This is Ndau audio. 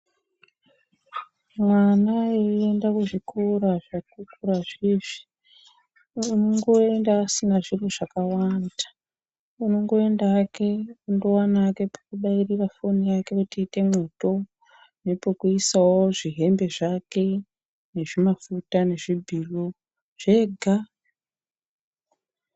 Mwana eienda kuzvikora zvekukurazvi izvi. Unongoenda asina zviro zvakawanda. Unongoenda hake ondoona hake pekubairira foni yake kuti iite mwoto, nepekuisawo zvihembe zvake, nezvimafuta nezvibhiro, zvega.